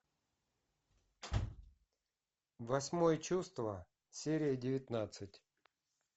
восьмое чувство серия девятнадцать